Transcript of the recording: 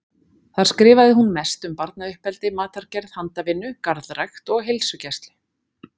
Þar skrifaði hún mest um barnauppeldi, matargerð, handavinnu, garðrækt og heilsugæslu.